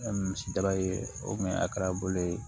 misi daba ye o kun ye a kɛra bolo ye